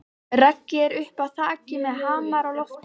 Raggi er uppi á þaki með hamar á lofti.